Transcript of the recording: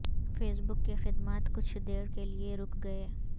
face بک کے خدمات کچھ دیر کے لئے رک گئے